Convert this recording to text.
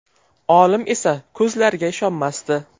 Olim esa o‘z ko‘zlariga ishonmasdi.